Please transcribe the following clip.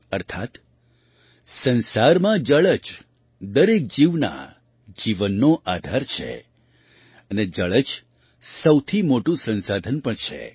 અર્થાત્ સંસારમાં જળ જ દરેક જીવના જીવનનો આધાર છે અને જળ જ સૌથી મોટું સંસાધન પણ છે